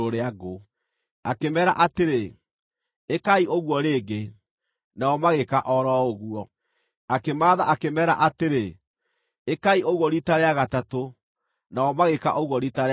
Akĩmeera atĩrĩ, “Ĩkai ũguo rĩngĩ,” nao magĩĩka o ro ũguo. Akĩmaatha akĩmeera atĩrĩ, “Ĩkai ũguo riita rĩa gatatũ,” nao magĩĩka ũguo riita rĩa gatatũ.